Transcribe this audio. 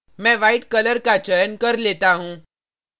मैं white color का चयन कर लेता हूँ